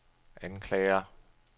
anklager